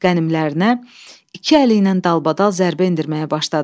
Qənimlərinə iki əli ilə dalbadal zərbə endirməyə başladı.